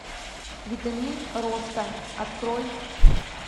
витамин роста открой